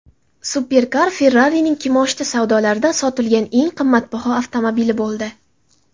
Superkar Ferrari’ning kimoshdi savdolarida sotilgan eng qimmatbaho avtomobili bo‘ldi.